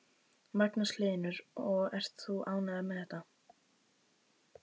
Magnús Hlynur: Og ert þú ánægður með þetta?